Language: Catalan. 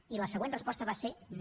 i la següent resposta va ser no